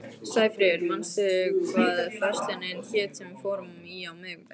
Sæfríður, manstu hvað verslunin hét sem við fórum í á miðvikudaginn?